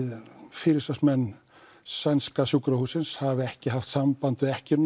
forsvarsmenn sænska sjúkrahússins hafi ekki haft samband við ekkjuna